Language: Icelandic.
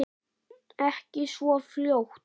Ekki svo fljótt.